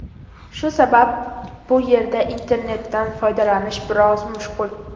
Shu sabab bu yerda internetdan foydalanish biroz mushkul.